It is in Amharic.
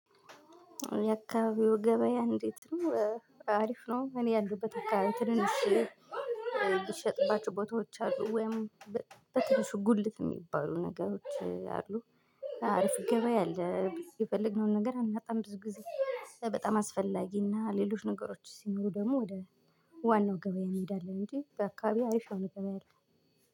የአካባቢው ገበያ እንዴት? ነው አሪፍ ነው እኔ ያለበት አካባቢው ትንንሽ የሚሸጥባቸው ቦታዎች አሉ ወይም በትንሹ ጉልት የሚባሉ ነገሮች አሉ፤። አርፍ ገበያ አለ የፈለግነውን ነገር አናጣም ብዙ ጊዜ። በጣም አስፈላጊና ሌሎች ነገሮች ሲኖሩ ደግሞ ወደ ዋናው ገበያ እንሄዳለን እንጂ በአካባቢ አሪፍ ነገር የለም